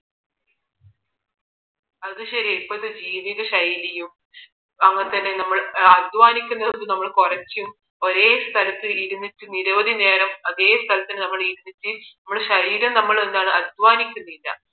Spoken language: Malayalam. അതുശരിയാ ഇപ്പോഴത്തെ ജീവിത ശൈലിയും അതുപോലെ തന്നെ നമ്മൾ അധ്വാനിക്കുന്നത് നമ്മൾ കുറയ്ക്കും ഒരേ സ്ഥലത്ത് ഇരുന്ന് നിരവധി നേരം അതേ സ്ഥലത്ത് നമ്മൾ ഇരുന്നിട്ട് നമ്മളെ ശരീരം നമ്മൾ എന്താണ് അധ്വാനിക്കുന്നില്ല